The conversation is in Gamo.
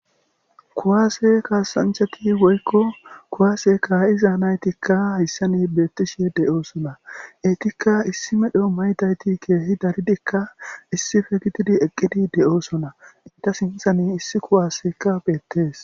kuwaase kaasanchati woykko kuwaase kaa7iza naytikka hissani beettishi de7oosona etikka issi medho maytayti keehi daridikka issife gitidi eqqidi de7oosona inta sinthan issi kuwasekka beettees